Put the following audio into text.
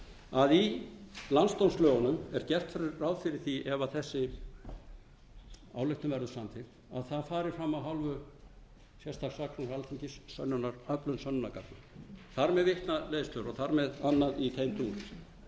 að í landsdómslögunum er gert ráð fyrir því ef þessi ályktun verður samþykkt að það fari fram af hálfu sérstaks saksóknara alþingis öflun sönnunargagna þar með vitnaleiðslur og þar með